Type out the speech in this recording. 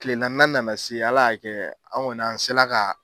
Tile naaninan nana se ala y'a kɛ an kɔni an sela ka